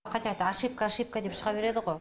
қайта қайта ошибка ошибка деп шыға береді ғой